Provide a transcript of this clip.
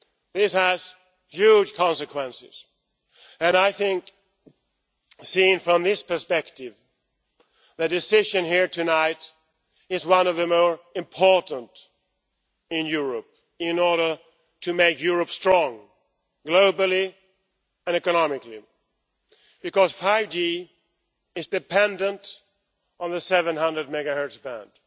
This has huge consequences and I think, seen from this perspective, the decision here tonight is one of the more important in Europe in order to make Europe strong, globally and economically. 5G is dependent on the 700 MHz band.